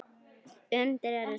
Undrin eru sönn.